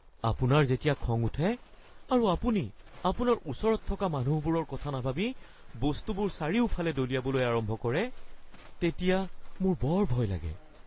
আপোনাৰ যেতিয়া খং উঠে আৰু আপুনি আপোনাৰ ওচৰত থকা মানুহৰবোৰৰ কথা নাভাবি বস্তুবোৰ চাৰিওফালে দলিয়াবলৈ আৰম্ভ কৰে তেতিয়া মোৰ বৰ ভয় লাগে।